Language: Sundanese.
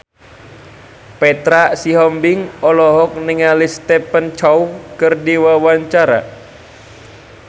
Petra Sihombing olohok ningali Stephen Chow keur diwawancara